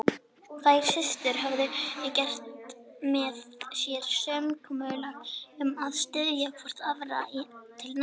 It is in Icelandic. Þær systur höfðu gert með sér samkomulag um að styðja hvor aðra til náms.